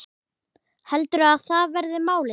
Heldurðu að það verði málið?